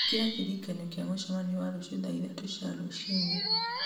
ĩkĩra kĩririkanio kĩa mũcemanio wa rũciũ thaa ithatũ cia rũcinĩ